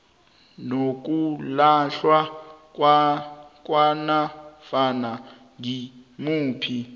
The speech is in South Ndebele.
nokulahlwa kwanofana ngimuphi